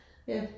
Ja